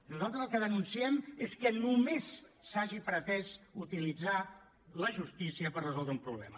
nosaltres el que denunciem és que només s’hagi pretès utilitzar la justícia per resoldre un problema